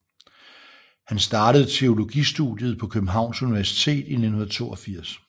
Han startede teologistudiet på Københavns Universitet i 1982